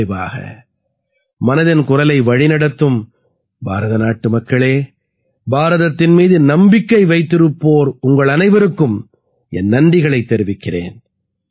நிறைவாக மனதின் குரலை வழிநடத்தும் பாரத நாட்டு மக்கள் பாரதத்தின் மீது நம்பிக்கை வைத்திருப்போர் அனைவருக்கும் என் நன்றிகளைத் தெரிவிக்கிறேன்